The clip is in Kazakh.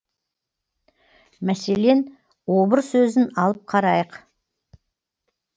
мәселен обыр сөзін алып қарайық